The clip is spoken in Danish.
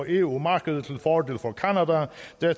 eu markedet